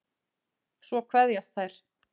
Svo kveðjast þær.